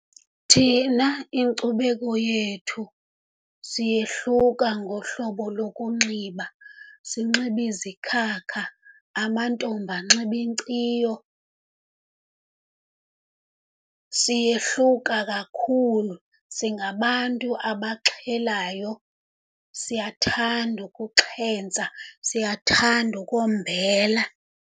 Thina inkcubeko yethu siyehluka ngohlobo lokunxiba, sinxibe izikhakha, amantombi anxibe inkciyo. Siyehluka kakhulu, singabantu abaxhelayo, siyathanda ukuxhentsa, siyathanda ukombela.